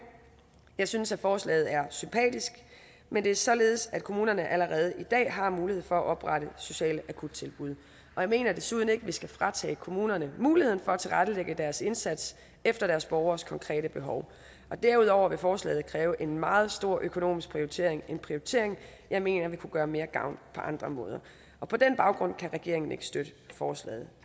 jeg synes at forslaget er sympatisk men det er således at kommunerne allerede i dag har mulighed for at oprette sociale akuttilbud og jeg mener desuden ikke vi skal fratage kommunerne muligheden for at tilrettelægge deres indsats efter deres borgeres konkrete behov derudover vil forslaget kræve en meget stor økonomisk prioritering en prioritering jeg mener vil kunne gøre mere gavn på andre måder på den baggrund kan regeringen ikke støtte forslaget